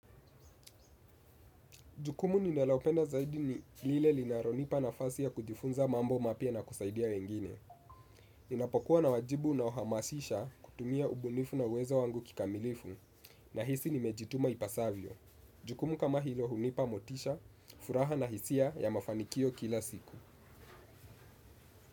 Jukumu ninalopenda zaidi ni lile linalonipa nafasi ya kujifunza mambo mapya na kusaidia wengine. Ninapokuwa na wajibu na uhamasisha, kutumia ubunifu na uwezo wangu kikamilifu nahisi nimejituma ipasavyo. Jukumu kama hilo hunipa motisha, furaha na hisia ya mafanikio kila siku.